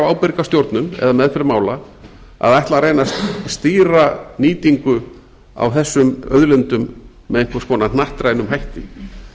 ábyrga stjórnun eða meðferð mála að ætla að reyna að stýra nýtingu á þessum auðlindum með einhvers konar hnattrænum hætti